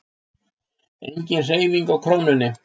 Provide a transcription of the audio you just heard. Engin hreyfing á krónunni